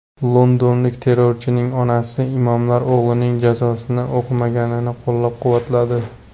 Londonlik terrorchining onasi imomlar o‘g‘lining janozasini o‘qimaganini qo‘llab-quvvatladi.